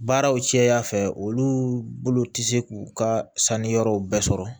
Baaraw cɛya fɛ olu bolo tɛ se k'u ka sanni yɔrɔw bɛɛ sɔrɔ